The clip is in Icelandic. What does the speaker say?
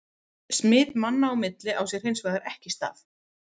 Smit manna á milli á sér hins vegar ekki stað.